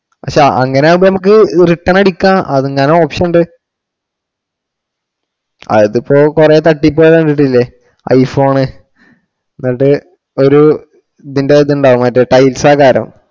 പക്ഷെ അങ്ങനെ ആകുമ്പോ നമുക്ക് return അടിക്കാം, അങ്ങനെ option ഉണ്ട്. അതിപ്പോ കുറെ തട്ടിപ്പു കാരെ കണ്ടിട്ടില്ലേ i phone എന്നിട്ടു ഒരു ഇതിന്റെ അതുണ്ടാവും മറ്റേ